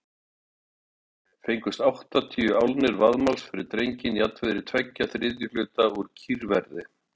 Fengust áttatíu álnir vaðmáls fyrir drenginn, jafnvirði tveggja þriðju hluta úr kýrverði.